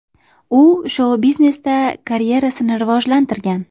U shou-biznesda karyerasini rivojlantirgan.